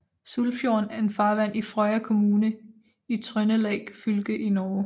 Sulfjorden er en farvand i Frøya kommune i Trøndelag fylke i Norge